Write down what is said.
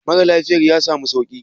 Mara lafiyan ya samu sauki?